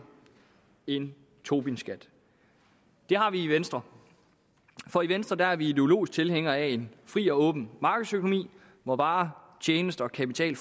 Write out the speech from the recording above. en tobinskat det har vi i venstre for i venstre er vi ideologisk tilhængere af en fri og åben markedsøkonomi hvor varer tjenester og kapital